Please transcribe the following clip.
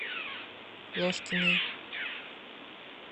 ложкиной